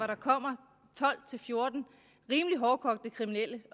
der kommer tolv til fjorten rimelig hårdkogte kriminelle